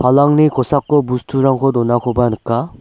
palangni kosako busturangko donakoba nika.